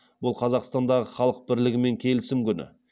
бұл қазақстандағы халық бірлігі мен келісім күні